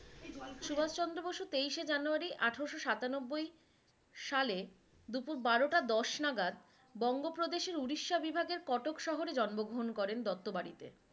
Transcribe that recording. সুভাস চন্দ্র বসু তেইশে জানুয়ারি আঠারোশো সাতানব্বই সালে দুপুর বারোটা দশ নাগাদ বঙ্গ প্রদেশের উড়িষ্যা বিভাগের কটোক শহরে জন্মগ্রহন করেন দত্ত বাড়িতে।